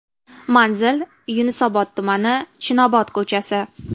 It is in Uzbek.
Manzil: Yunusobod tumani, Chinobod ko‘chasi.